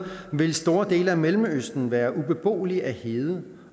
vil store dele af mellemøsten være ubeboelige af hede